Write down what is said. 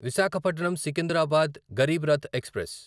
Visakhapatnam Secunderabad Garib Rath express